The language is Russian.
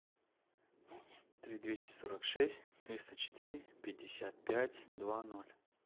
три двести сорок шесть триста четыре пятьдесят пять два ноль